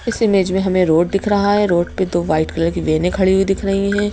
इस इमेज में हमें रोड दिख रहा है रोड पे दो व्हाइट कलर की वेनें खड़ी हुई दिख रही हैं।